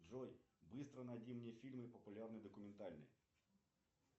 джой быстро найди мне фильмы популярные документальные